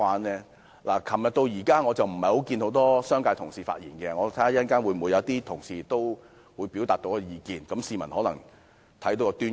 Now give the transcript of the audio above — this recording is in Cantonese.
昨天至今，沒有很多商界同事發言，如果稍後有商界同事表達意見，市民或許能從中看出端倪。